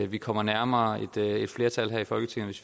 vi kommer nærmere et flertal her i folketinget